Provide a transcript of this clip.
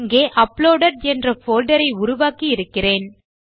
இங்கே அப்லோடெட் என்ற போல்டர் உருவாக்கி இருக்கிறேன்